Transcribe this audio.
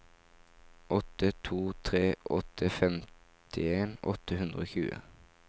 åtte to tre åtte femtien åtte hundre og tjue